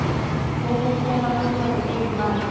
kokuphela konyaka weemali